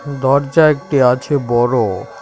দরজা একটি আছে বড়ো।